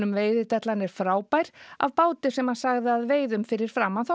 Veiðidellan er frábær af báti sem hann sagði að veiðum fyrir framan